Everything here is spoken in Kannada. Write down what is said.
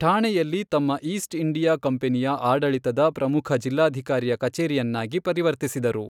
ಠಾಣೆಯಲ್ಲಿ ತಮ್ಮಈಸ್ಟ್ ಇಂಡಿಯಾ ಕಂಪೆನಿಯ ಆಡಳಿತದ ಪ್ರಮುಖ ಜಿಲ್ಲಾಧಿಕಾರಿಯ ಕಚೇರಿಯನ್ನಾಗಿ ಪರಿವರ್ತಿಸಿದರು.